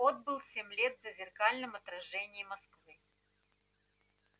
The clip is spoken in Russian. отбыл семь лет в зазеркальном отражении москвы